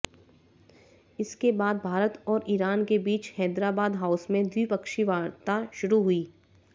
इसके बाद भारत और ईरान के बीच हैदराबाद हाउस में द्विपक्षीय वार्ता शुरू हुई